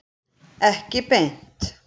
Ekki beint.